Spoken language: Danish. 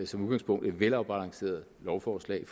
som udgangspunkt er et velafbalanceret lovforslag